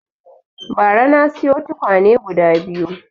Bara na siyo tukwane guda biyu